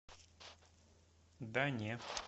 да не